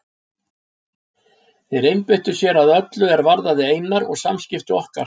Þeir einbeittu sér að öllu er varðaði Einar og samskipti okkar.